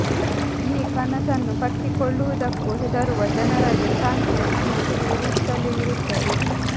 ಈ ಕನಸನ್ನು ಕಟ್ಟಿಕೊಳ್ಳುವುದಕ್ಕೂ ಹೆದರುವ ಜನರಲ್ಲಿ ಕ್ರಾಂತಿಯ ಸಣ್ಣ ಕಿಡಿ ಉರಿಯುತ್ತಲೇ ಇರುತ್ತದೆ